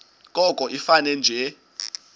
koko ifane nje